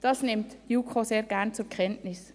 Dies nimmt die JuKo sehr gerne zur Kenntnis.